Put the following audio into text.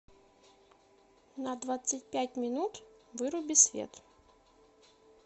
на двадцать пять минут выруби свет